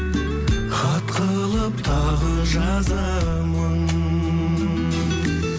хат қылып тағы жазамын